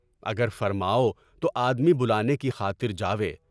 اگر فرماؤ تو آدمی بلانے کی خاطر جائیں۔